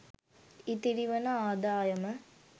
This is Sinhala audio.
ඉතිරි වන ආදායම